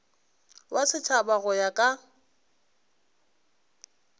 wa setšhaba go ya ka